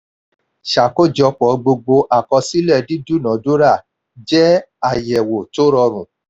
ṣàkójọpọ̀ gbogbo àkọsílẹ̀ dídúnadúrà jẹ́ àyẹ̀wò tó rọrùn.